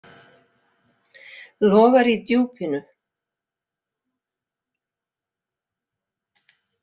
Logar í djúpinu.